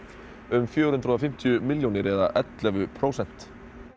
um fjögur hundruð og fimmtíu milljónir eða ellefu prósent